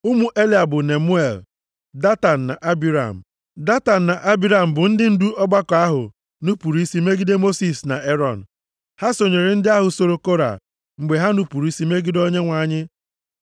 ụmụ Eliab bụ Nemuel, Datan na Abiram. Datan na Abiram bụ ndị ndu ọgbakọ ahụ nupuru isi megide Mosis na Erọn. Ha sonyere ndị ahụ so Kora mgbe ha nupuru isi megide Onyenwe anyị.